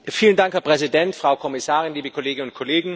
Herr Präsident, Frau Kommissarin, liebe Kolleginnen und Kollegen!